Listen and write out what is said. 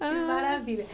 Que maravilha!